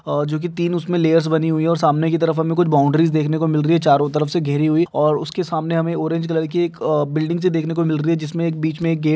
और जो कि तीन उसमे ल्येर्स बनि हुई है और सामने की तरफ हमे कुछ बाउड्री देखने को मिल रही है चारो तरफ से घिरी हुई और उसके सामने हमे एक ऑरेज कलर की अ बिल्डिग सी देखने को मिल रही है जिसमे एक बिच मे एक--